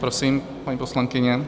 Prosím, paní poslankyně.